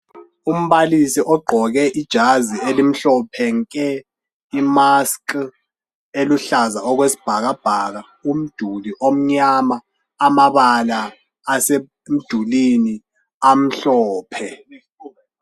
Umbalisi ogqoke ijazi elimhlophe nke,i"mask " eluhlaza okwesibhakabhaka, umduli omnyama, amabala asemdulwini amhlophe.